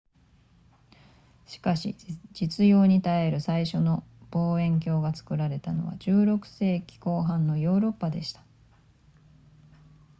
しかし実用に耐える最初の望遠鏡が作られたのは16世紀後半のヨーロッパでした